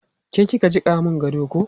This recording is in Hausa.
Ke ki ka jiƙa mun gado ko?